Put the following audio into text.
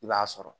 I b'a sɔrɔ